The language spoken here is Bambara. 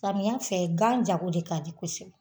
Samiya fɛ gan jago de ka di kosɛbɛ